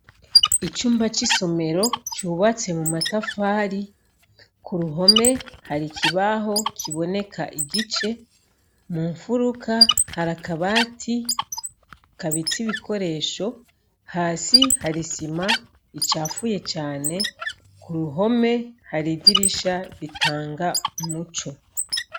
Icumba c'isomero cubatse mumatafari k'uruhome hari ikibaho kiboneka igice, munfuruka hari akabati kabitse ibikoresho, hasi hari isima icafuye cane, k'uruhome hari idirisha ritanga umuco.